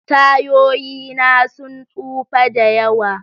Tayoyi na sun tsufa da yawa.